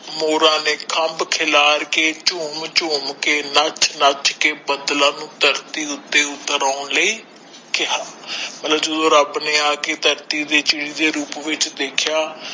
ਮੋਰਾਂ ਨੇ ਕੰਬ ਖਿਲਾਰ ਕੇ ਚੁਮ ਚੁਮ ਕੇ ਨਚ ਨਚ ਕੇ ਬਦਲਾ ਨੂੰ ਧਰਤੀ ਉੱਥੇ ਉਤਰ ਆਉਣ ਲਿਯ ਕੇਹਾ ਮਤਲਬ ਜਦੋ ਰੱਬ ਨੇ ਆਕੇ ਧਰਤੀ ਤੇ ਚਿੜੀ ਦੇ ਰੂਪ ਵਿੱਚ ਦੇਖਾ